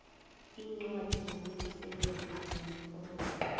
iincwadi zokuvuselelwa namaforomo